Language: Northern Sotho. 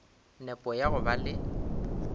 nepo ya go ba le